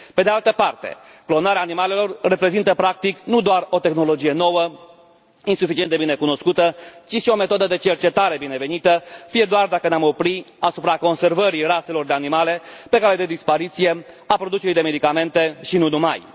Pe de altă parte, clonarea animalelor reprezintă, practic, nu doar o tehnologie nouă, insuficient de bine cunoscută, ci și o metodă de cercetare binevenită, fie și dacă ne am opri doar asupra conservării raselor de animale pe cale de dispariție, a producerii de medicamente, și nu numai.